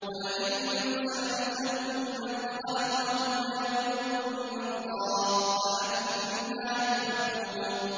وَلَئِن سَأَلْتَهُم مَّنْ خَلَقَهُمْ لَيَقُولُنَّ اللَّهُ ۖ فَأَنَّىٰ يُؤْفَكُونَ